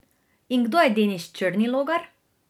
In kdo je Denis Črnilogar?